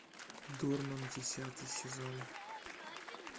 дурман десятый сезон